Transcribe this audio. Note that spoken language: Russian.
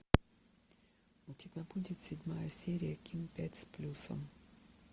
у тебя будет седьмая серия ким пять с плюсом